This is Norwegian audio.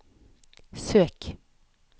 søk